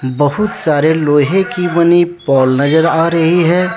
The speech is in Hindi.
बहुत सारे लोहे की बनी पोल नजर आ रही है।